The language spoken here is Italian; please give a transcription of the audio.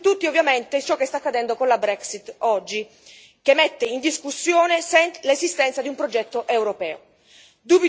Un esempio su tutti, ovviamente, è ciò che sta accadendo oggi con la Brexit, che mette in discussione l'esistenza di un progetto europeo.